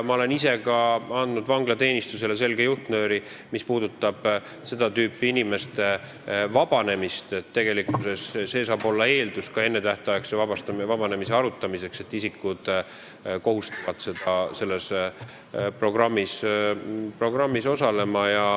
Ma olen ise ka andnud vanglateenistusele selge juhtnööri, et tegelikult eeldus ennetähtaegse vabanemise arutamiseks saab olla see, kui isikud kohustuvad selles programmis osalema.